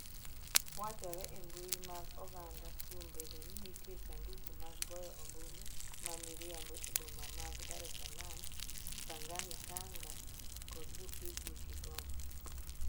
Wachore e mbui mag oganda kuom bedo ni nitie sanduku mag goyo ombulu ma miriambo e boma mag Dar es Salaam, Pangani Tanga kod Buhigwe Kigoma.